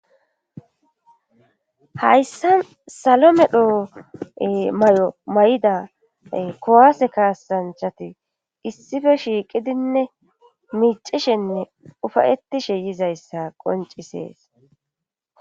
Hayssa salomedho may'o may'ida kowaase kaasanchati issife shiiqidinne miicishenne ufayetishe yizayssa qoncisees.